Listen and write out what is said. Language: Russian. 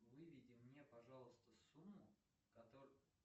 выведи мне пожалуйста сумму которую